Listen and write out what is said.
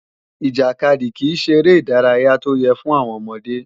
Ìjàkadì kìí ṣeré ìdárayá tó yẹ́ fún àwọn ọmọdé